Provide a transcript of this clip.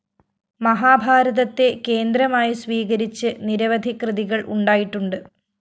മഹാഭാരതത്തെ കേന്ദ്രമായി സ്വീകരിച്ച് നിരവധി കൃതികള്‍ ഉണ്ടായിട്ടുണ്ട്